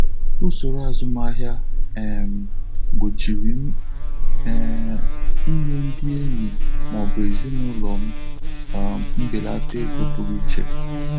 Ụsọrọ azụmahịa um m gbochiri m um inye ndị enyi ma ọ bụ ezinụlọ m um mbelata ego pụrụ iche.